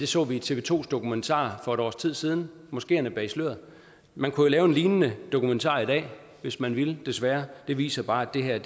så vi i tv to dokumentar for et års tid siden moskeerne bag sløret man kunne lave en lignende dokumentar i dag hvis man ville desværre det viser bare at det her